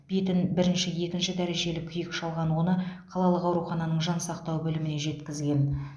бетін бірінші екінші дәрежелі күйік шалған оны қалалық аурухананың жансақтау бөліміне жеткізген